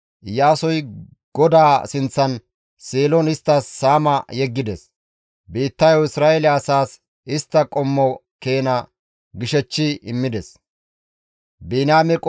Iyaasoy GODAA sinththan Seelon isttas saama yeggides; biittayo Isra7eele asaas istta qommo keena gishechchi immides.